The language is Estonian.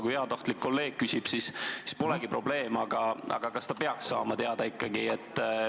Kui heatahtlik kolleeg küsib, siis see polegi probleem, aga kas kolleeg peaks seda siiski teada saama?